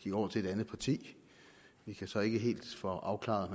gik over til et andet parti vi kan så ikke helt få afklaret